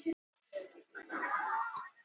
Skúla á Laxalóni.